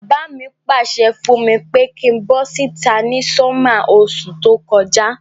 Bàbá mi pàsẹ fùn mi pe kin bo síta ni summer osú to kojá